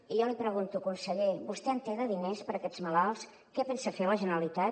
i jo li pregunto conseller vostè en té de diners per aquests malalts què pensa fer la generalitat